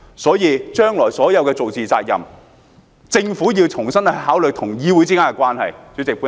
所以，政府要就將來所做的事負上責任，重新考慮與議會之間的關係。